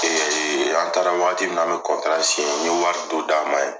Ee an taara. Waati mun an bi n ye wari dɔ d'a ma yen.